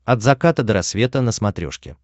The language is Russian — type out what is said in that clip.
от заката до рассвета на смотрешке